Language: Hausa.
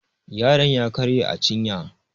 yaron ya karye a cinya